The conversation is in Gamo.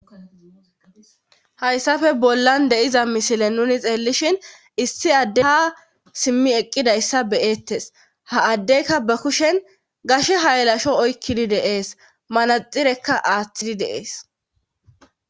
hayssafe bollan de'iza misile nuni xeellishin issi addey haa simmi eqqidayssa beyettes ha addeyka ba kushen gashe haylasho oykkidi de'es manaxirekka aaththidi de'ees